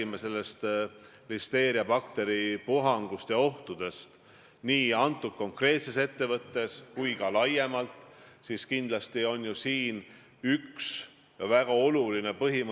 Ma ütlesin väga selgelt välja – te vihjate sellele, et enne valimisi oli kampaania käigus üks põhiküsimus see, kes teeb EKRE-ga koostööd ja kes ei tee –, ma ütlesin, et nende väärtustega ei saa ma koostööd teha.